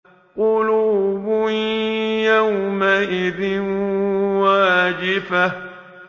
قُلُوبٌ يَوْمَئِذٍ وَاجِفَةٌ